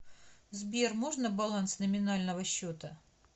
сбер можно баланс номинального счета